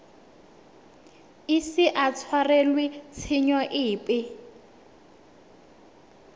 ise a tshwarelwe tshenyo epe